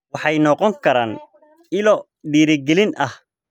Waxay noqon karaan ilo dhiirigelin ah.